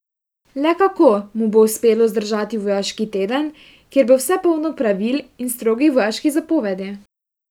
Le kako mu bo uspelo zdržati vojaški teden, kjer bo vse polno pravil in strogih vojaških zapovedi?